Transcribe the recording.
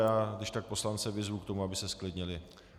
Já když tak poslance vyzvu k tomu, aby se zklidnili.